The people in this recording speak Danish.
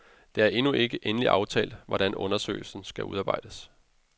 Det er endnu ikke endeligt aftalt, hvordan undersøgelsen skal udarbejdes.